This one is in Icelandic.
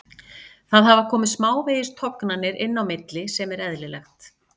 Það hafa komið smávegis tognanir inn á milli sem er eðlilegt.